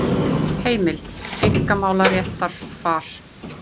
Heimild: Einkamálaréttarfar.